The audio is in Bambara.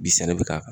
Bi sɛnɛ bɛ k'a kan